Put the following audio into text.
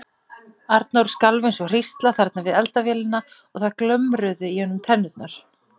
Ég vildi læra að minnast þín ekki, hvorki seint né snemma.